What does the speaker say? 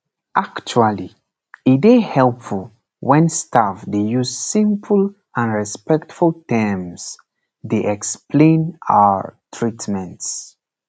actually e dey helpful wen staff dey use simple and respectful terms dey explain ah treatments